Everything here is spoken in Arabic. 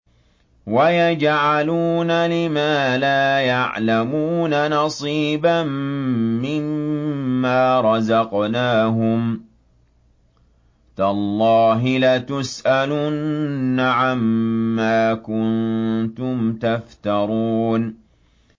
وَيَجْعَلُونَ لِمَا لَا يَعْلَمُونَ نَصِيبًا مِّمَّا رَزَقْنَاهُمْ ۗ تَاللَّهِ لَتُسْأَلُنَّ عَمَّا كُنتُمْ تَفْتَرُونَ